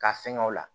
Ka fɛngɛ o la